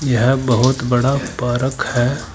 यह बहुत बड़ा पार्क है।